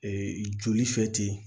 Ee joli fɛ ten